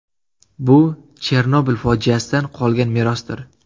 Bu – Chernobil fojiasidan qolgan merosdir.